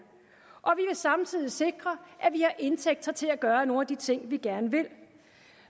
samtidig sikre at vi har indtægter til at gøre nogle af de ting vi gerne vil